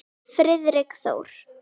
Friðrik Þór.